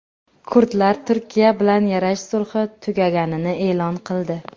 Kurdlar Turkiya bilan yarash sulhi tugaganini e’lon qildi.